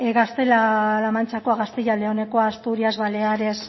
gaztela la mantxakoa gaztela leonekoa asturias baleares